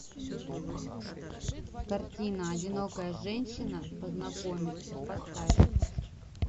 картина одинокая женщина познакомится поставь